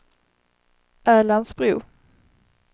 Älandsbro